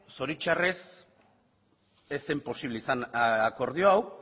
zoritxarrez ez zen posible izan akordio hau